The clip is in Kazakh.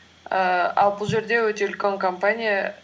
ііі ал бұл жерде өте үлкен компания